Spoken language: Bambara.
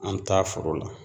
An mi taa foro la